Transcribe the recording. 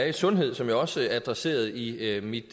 i sundhed som jeg også adresserede i mit